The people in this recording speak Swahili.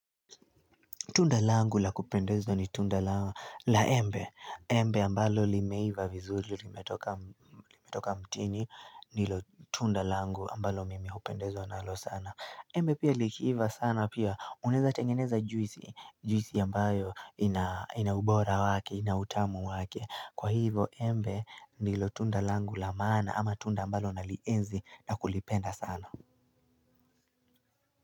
Tunda langu la kupendezwa ni tunda la embe, embe ambalo limeiva vizuri, limetoka mtini, ndilo tunda langu ambalo mimi upendezwa nalo sana. Embe pia likiiva sana pia, unaeza tengeneza juisi, juisi ambayo ina ubora wake, ina utamu wake. Kwa hivo embe nilo tunda langu la maana ama tunda ambalo nalienzi na kulipenda sana.